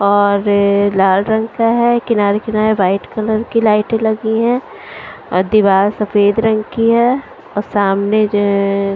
और लाल रंग का है किनारे किनारे व्हाईट कलर की लाइटें लगी है और दीवार सफेद रंग की है और सामने जो --